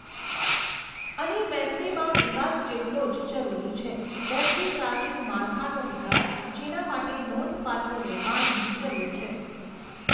અને બૅટરીમાં વિકાસ જેટલો જ જરૂરી છે. બૅટરી ચાર્જિંગ માળખાનો વિકાસ, જેના માટે નોંધપાત્ર રોકાણની જરૂર છે.